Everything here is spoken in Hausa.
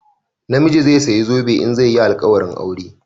Namiji zai saya zobe in zai yi alƙawarin aure